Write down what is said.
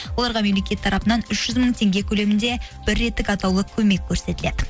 оларға мемлекет тарапынан үш жүз мың теңге көлемінде бір реттік атаулы көмек көрсетіледі